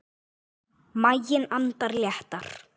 Maginn andar léttar.